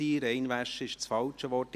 «Reinwaschen» war das falsche Wort.